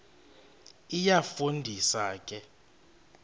iyafu ndisa ke